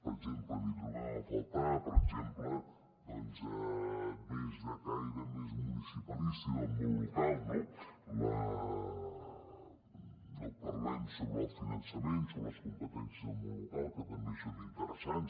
n’hi trobem a faltar per exemple de caire més municipalista i del món local no no parlem sobre el finançament sobre les competències del món local que també són interessants